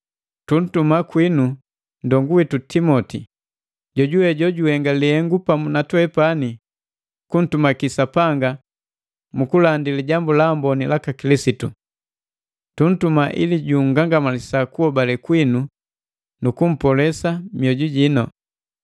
Tuntuma kwinu nndongu witu Timoti, joujuwe jojuhenga lihengu pamu na twepani kuntumaki Sapanga mu kulandi Lijambu la Amboni laka Kilisitu. Tuntuma ili jungangamalisa kuhobale kwinu nu kumpolosa mioju.